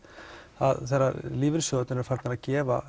þegar lífeyrissjóðir eru farnir að gefa